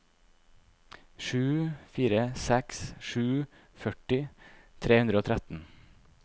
sju fire seks sju førti tre hundre og tretten